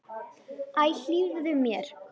Æ, hlífðu mér!